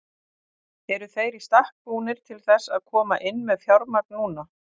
Eru þeir í stakk búnir til þess að koma inn með fjármagn núna?